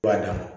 Banna